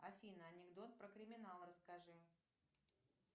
афина анекдот про криминал расскажи